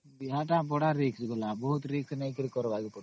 ବିହା ତା ବଡ risk ନେଇକରି କରିବା